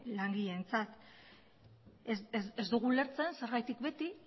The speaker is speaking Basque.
langileentzat ez dugu ulertzen zergatik beti